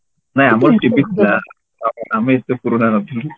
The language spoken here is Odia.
ନା ଆମର TV ଥିଲା ଆମେ ଏତେ ପୁରୁଣା ନଥିଲୁ